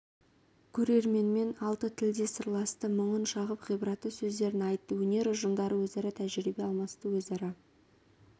көрерменмен алты тілде сырласты мұңын шағып ғибратты сөздерін айтты өнер ұжымдары өзара тәжірибе алмасты өзара